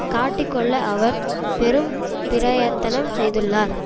காட்டிக் கொள்ள அவர் பெரும் பிரயத்தனம் செய்துள்ளார்